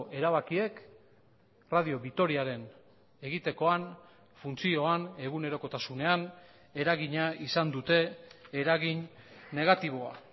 erabakiek radio vitoriaren egitekoan funtzioan egunerokotasunean eragina izan dute eragin negatiboa